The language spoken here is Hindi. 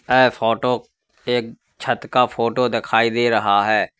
यह फोटो एक छत का फोटो दिखाई दे रहा है।